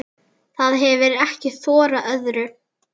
Það hefir ekki þorað öðru.